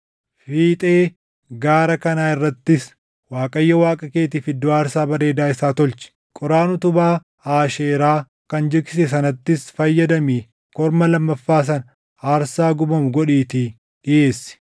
Fiixee gaara kanaa irrattis Waaqayyo Waaqa keetiif iddoo aarsaa bareedaa isaa tolchi. Qoraan utubaa Aasheeraa kan jigsite sanattis fayyadamii korma lammaffaa sana aarsaa gubamu godhiitii dhiʼeessi.”